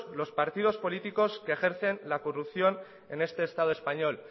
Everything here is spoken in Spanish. los partidos políticos que ejercen la corrupción en este estado español